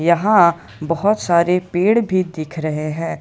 यहाँ बहोत सारे पेड़ भी दिख रहे हैं।